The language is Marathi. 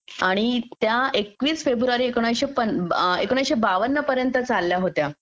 आणि त्या एकवीस फेब्रुवारी एकोणीसशे बावन पर्यंत चालल्या होत्या